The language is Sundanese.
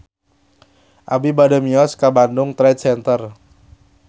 Abi bade mios ka Bandung Trade Center